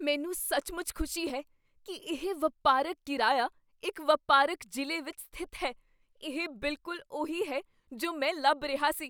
ਮੈਨੂੰ ਸੱਚਮੁੱਚ ਖੁਸ਼ੀ ਹੈ ਕੀ ਇਹ ਵਪਾਰਕ ਕਿਰਾਇਆ ਇੱਕ ਵਪਾਰਕ ਜ਼ਿਲ੍ਹੇ ਵਿੱਚ ਸਥਿਤ ਹੈ। ਇਹ ਬਿਲਕੁਲ ਉਹੀ ਹੈ ਜੋ ਮੈਂ ਲੱਭ ਰਿਹਾ ਸੀ।